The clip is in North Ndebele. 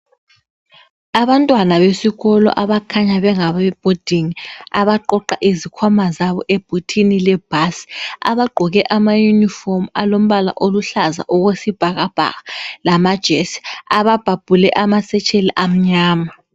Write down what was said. Abantwana besikolo abakhanya bengabe boarding abaqoqa izikhwama zabo ebhuthini le bhasi abagqoke ama yunifomu alombala oluhlaza okwesibhakabhaka lamajesi ababhabhule ama satchel amnyama.